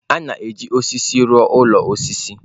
A na-eji osisi rụọ ụlọ osisi.